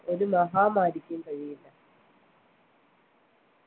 ഒരു മഹാമാരിക്കും കഴിയില്ല